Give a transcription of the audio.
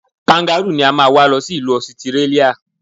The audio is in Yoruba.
Kangarúù ni a máa wá lọ sí ìlú Ọsitírálíà.